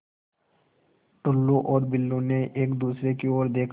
टुल्लु और बुल्लु ने एक दूसरे की ओर देखा